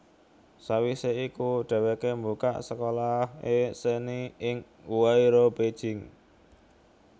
Sawisé iku dhèwèké mbukak sekolah seni ing Huairou Beijing